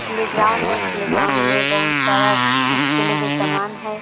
Play ground है playground में बहुत सारा खेल के सामान है।